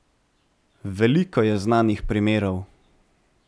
Veliko je znanih primerov.